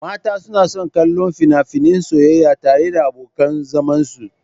Mata suna son kallon fina-finan soyayya tare da abokan zamansu.